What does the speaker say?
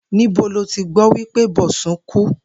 Níbo lo ti gbó̩ wí pé Bò̩sún ku?